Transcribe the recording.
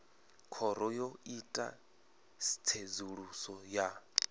khoro yo ita tsedzuluso ya